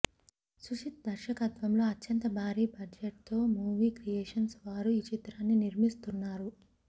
సుజిత్ దర్శకత్వంలో అత్యంత భారీ బడ్జెట్తో యువి క్రియేషన్స్ వారు ఈ చిత్రాన్ని నిర్మిస్తున్నారు